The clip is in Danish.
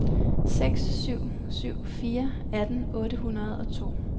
seks syv syv fire atten otte hundrede og to